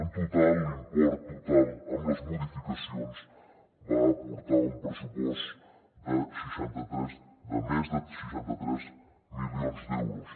en total l’import total amb les modificacions va aportar un pressupost de més de seixanta tres milions d’euros